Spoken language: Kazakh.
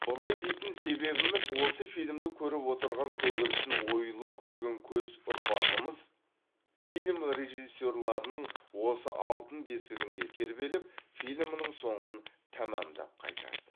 бұлай дейтін себебіміз осы фильмді көріп отырған көгершін ойлы көген көз ұрпағымыз фильм режиссерларының осы алтын бесігінде тербеліп фильмнің соңын тамамдап қайтады